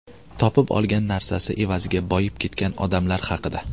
Topib olgan narsasi evaziga boyib ketgan odamlar haqida.